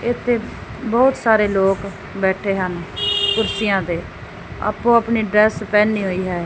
ਇਥੇ ਬਹੁਤ ਸਾਰੇ ਲੋਕ ਬੈਠੇ ਹਨ ਕੁਰਸੀਆਂ ਤੇ ਆਪੋ ਆਪਣੀ ਡਰੈਸ ਪਹਨੀ ਹੋਈ ਹੈ।